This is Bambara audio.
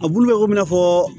A bulu bɛ kɔmi i n'a fɔ